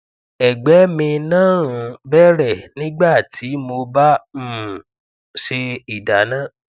ẹgbẹ mi náà ń bẹrẹ nígbà tí mo bá um ń ṣe ìdáná